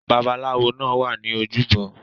Babalawó náà wa ni ojúbọ